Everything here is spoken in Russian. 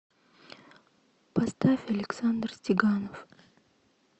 поставь александр стеганов